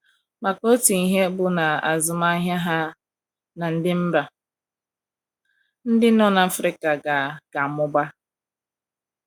maka Otu ihe bụ na azụmahịa ha na ndi mba ndị nọ na Afrika ga - ga - amụba.